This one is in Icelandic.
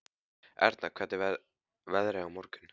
Erna, hvernig verður veðrið á morgun?